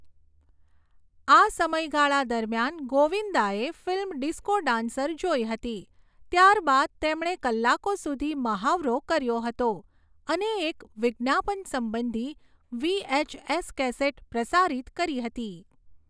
આ સમયગાળા દરમિયાન ગોવિંદાએ ફિલ્મ ડિસ્કો ડાન્સર જોઈ હતી, ત્યારબાદ તેમણે કલાકો સુધી મહાવરો કર્યો હતો અને એક વિજ્ઞાપન સંબંધી વીએચએસ કેસેટ પ્રસારિત કરી હતી.